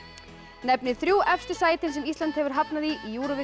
nefnið þrjú efstu sætin sem Ísland hefur hafnað í